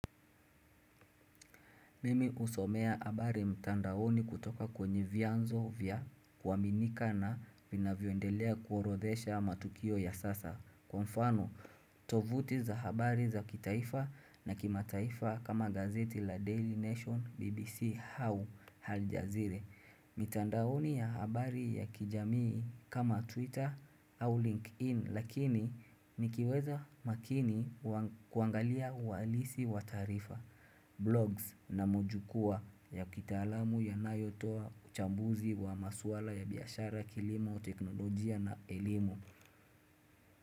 Mimi husomea habari mtandaoni kutoka kwenye vyanzo vya kuaminika na vinavyoendelea kuorodhesha matukio ya sasa. Kwa mfano, tovuti za habari za kitaifa na kimataifa kama gazeti la Daily Nation BBC hau haljazire. Mitandaoni ya habari ya kijamii kama Twitter au LinkedIn lakini nikiweza makini kuangalia uhalisi wa tarifa. Blogs na mojukua ya kitalamu ya nayotoa uchambuzi wa maswala ya biashara kilimo teknolojia na elimu.